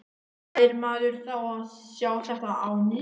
Fær maður þá að sjá þetta á ný?